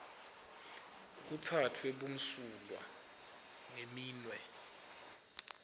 kutsatfwe bumsulwa ngeminwe